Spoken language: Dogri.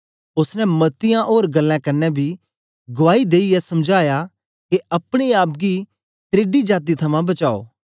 ओसने मती ओर गल्लें कन्ने बी गुआई देईयै समझाया के अपने आप गी त्रेडी जाती थमां बचाओ